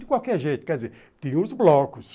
De qualquer jeito, quer dizer, tinha os blocos.